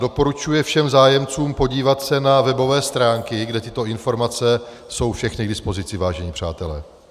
Doporučuje všem zájemcům podívat se na webové stránky, kde tyto informace jsou všechny k dispozici, vážení přátelé.